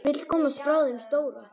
Vill komast frá þeim stóra.